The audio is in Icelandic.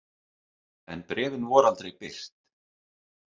En bréfin voru aldrei birt.